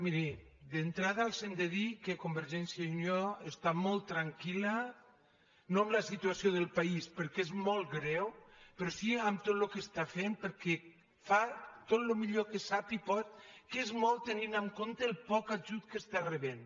miri d’entrada els hem de dir que convergència i unió està molt tranquil·la no amb la situació del país perquè és molt greu pe·rò si amb tot el que està fent perquè fa tot el millor que sap i pot que és molt tenint en compte el poc ajut que està rebent